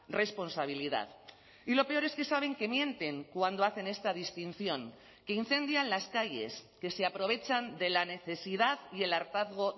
responsabilidad y lo peor es que saben que mienten cuando hacen esta distinción que incendian las calles que se aprovechan de la necesidad y el hartazgo